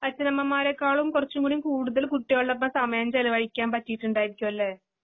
അച്ഛനമ്മമാരേക്കാളും കുറച്ചുംകൂടികൂടുതൽ കുട്ടികൾടൊപ്പം സമയംചെലവഴിക്കാൻപറ്റീട്ടുണ്ടായിരിക്കുവല്ലെ?